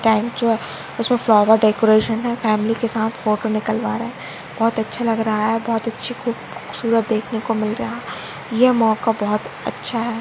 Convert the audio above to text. इसमें flower decoration है family के साथ फोटो निकलवा रहे हैं बहुत अच्छा लग रहा है बहुत अच्छा खूबसूरत देखने को मिल रहा है ये मौका बहुत अच्छा है।